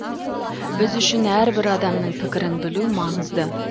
біз үшін әрбір адамның пікірін білу маңызды